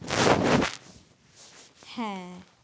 হ্যাঁ